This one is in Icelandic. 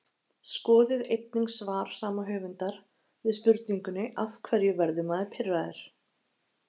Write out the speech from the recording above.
skoðið einnig svar sama höfundar við spurningunni af hverju verður maður pirraður